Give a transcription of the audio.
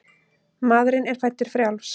Maðurinn er fæddur frjáls.